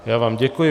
Já vám děkuji.